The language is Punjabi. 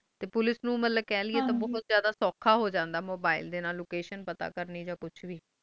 ਤੇ ਪੁਲਿਸ ਨੂੰ ਬਹੁਤ ਜਿਆਦਾ ਸੌਖਾ ਹੋ ਜਾਂਦਾ mobile ਡੇ ਨਾਲ location ਪਤਾ ਕਰਨੀ ਆ ਕੁਛ ਵੇ